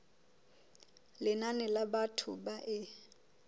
lenane la batho ba e